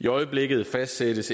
i øjeblikket fastsættes